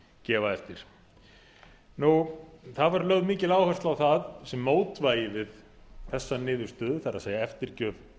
gefa eftir það var lögð mikil áhersla á það sem mótvægi við þessa niðurstöðu það er eftirgjöf